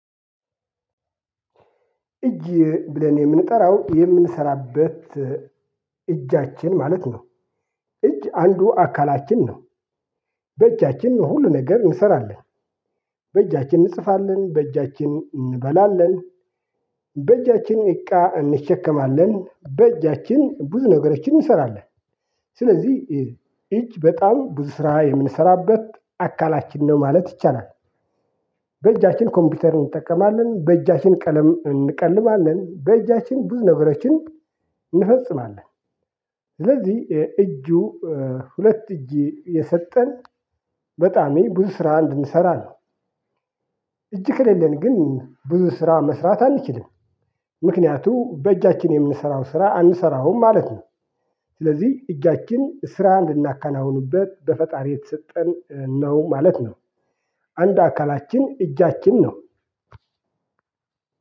እጅ ብለን የምንጠራው የምንሰራበት እጃችን ማለት ነው። እጅ አንዱ አካላችን ነው። በእጃችን ሁሉን ነገር እንሰራለን። በእጃችን እንጽፋለን፣ በእጃችን እንበላለን፣ በእጃችን እቃ እንሸከማለን፣ በእጃችን ብዙ ነገሮችን እንሰራለን። ስለዚህ እጅ በጣም ብዙ ስራ የምንሰራበት አካላችን ነው ማለት ይቻላል። በእጃችን ኮምፒውተር እንጠቀማለን፣ በእጃችን ቀለም እንቀልማለን፣ በእጃችን ብዙ ነገሮችን እንፈጽማለን። ስለዚህ እጁ ሁለት እጅ የሰጠን በጣም ብዙ ስራ እንድንሰራ ነው። እጅ ከሌለን ግን ብዙ ስራ መስራት አንችልም። ምክንያቱም በእጃችን የምንሰራው ስራ አንሰራውም ማለት ነው። ስለዚህ እጃችን ስራ ልናካናውኑበት በፈጣሪ የተሰጠን ነው ማለት ነው። አንድ አካላችን እጃችን ነው።